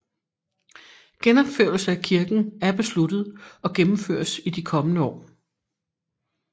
Genopførelse af kirken er besluttet og gennemføres i de kommende år